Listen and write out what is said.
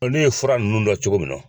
Bɔ ne ye fura ninnu dɔn cogo min na